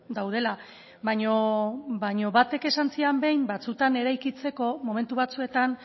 daudela baina batek esan zidan behin batzuetan eraikitzeko momentu batzuetan